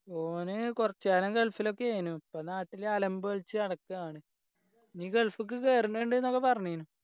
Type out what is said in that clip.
ഓന് കുറച്ച് കാലം ഗൾഫിലൊക്കെ ആയിനു ഇപ്പൊ നാട്ടില് അലമ്പ് കളിച്ച് നടക്കാണ് ഇനി ഗൾഫ്ക്ക് കേറിനിണ്ട് ഒക്കെ പറഞ്ഞിനി